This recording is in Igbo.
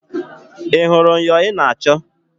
Ị hụrụ myọ ị na-achọ?